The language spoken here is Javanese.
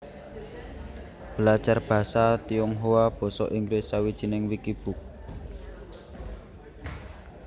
Belajar basa Tionghoa Basa Inggris Sawijining wikibook